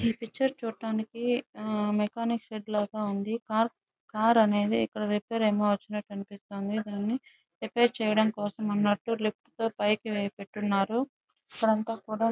ఈ పిక్చర్ చూడడానికి mechanic shed లాగా ఉంది. కారు కారు అనేది ఇక్కడ రిపేర్ కి వచ్చినట్టు కనిపిస్తుంది. కానీ రిపేర్ కి చేయడం కోసం అన్నట్టు పైకి లిఫ్ట్ వేసి పెట్టి ఉన్నారు.